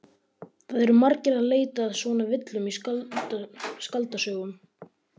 Það eru margir að leita að svona villum í skáldsögum.